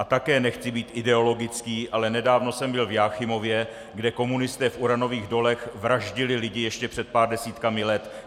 A také nechci být ideologický, ale nedávno jsem byl v Jáchymově, kde komunisté v uranových dolech vraždili lidi ještě před pár desítkami let!